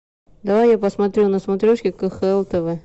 давай я посмотрю на смотрешке кхл тв